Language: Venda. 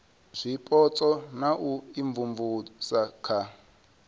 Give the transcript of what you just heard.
zwipotso na u imvumvusa nga